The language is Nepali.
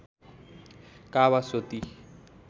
कावासोती